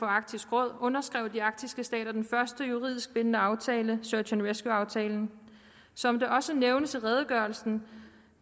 arktisk råd underskrev de arktiske stater den første juridisk bindende aftale search and rescue aftalen som det også nævnes i redegørelsen